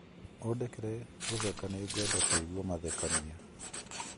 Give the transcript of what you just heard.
ũndekere gũtheka nigwenda kũigua mathekania